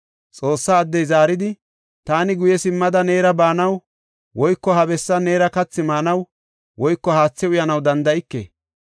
Xoossa addey zaaridi, “Taani guye simmada neera baanaw woyko ha bessan neera kathi maanaw woyko haathe uyanaw danda7ike.